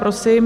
Prosím.